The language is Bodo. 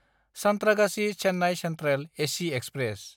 सान्थ्रागाछि–चेन्नाय सेन्ट्रेल एसि एक्सप्रेस